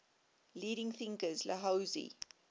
leading thinkers laozi